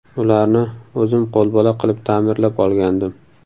Ularni o‘zim qo‘lbola qilib ta’mirlab olgandim.